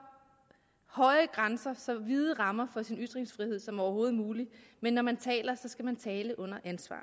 høje grænser så vide rammer for sin ytringsfrihed som overhovedet muligt men når man taler skal man tale under ansvar